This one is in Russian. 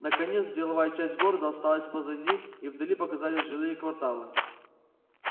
наконец деловая часть города осталась позади и вдали показались жилые кварталы